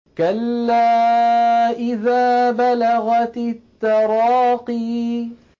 كَلَّا إِذَا بَلَغَتِ التَّرَاقِيَ